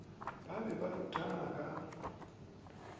ba be ba ruthana ka